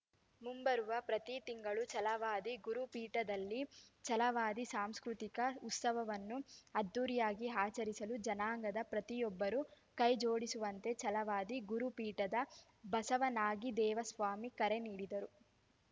ಮುಂಬರುವ ಪ್ರತಿ ತಿಂಗಳು ಛಲವಾದಿ ಗುರುಪೀಠದಲ್ಲಿ ಛಲವಾದಿ ಸಾಂಸ್ಕೃತಿಕ ಉತ್ಸವವನ್ನು ಅದ್ದೂರಿಯಾಗಿ ಆಚರಿಸಲು ಜನಾಂಗದ ಪ್ರತಿಯೊಬ್ಬರೂ ಕೈಜೋಡಿಸುವಂತೆ ಛಲವಾದಿ ಗುರುಪೀಠದ ಬಸವನಾಗಿದೇವಸ್ವಾಮಿ ಕರೆ ನೀಡಿದರು